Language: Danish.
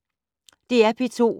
DR P2